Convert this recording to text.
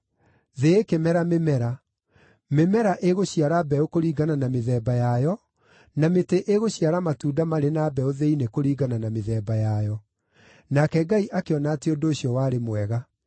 Thĩ ĩkĩmera mĩmera: Mĩmera ĩgũciara mbeũ kũringana na mĩthemba yayo, na mĩtĩ ĩgũciara matunda marĩ na mbeũ thĩinĩ kũringana na mĩthemba yayo. Nake Ngai akĩona atĩ ũndũ ũcio warĩ mwega.